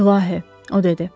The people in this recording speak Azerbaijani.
İlahi, o dedi.